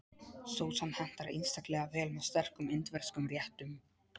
Sósan hentar einstaklega vel með sterkum indverskum réttum.